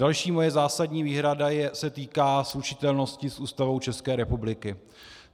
Další moje zásadní výhrada se týká slučitelnosti s Ústavou České republiky.